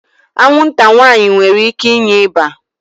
Anwụnta nwaanyị nwere ike inye ịba